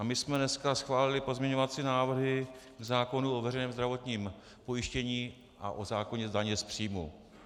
A my jsme dneska schválili pozměňovací návrhy zákonů o veřejném zdravotním pojištění a o zákoně daně z příjmu.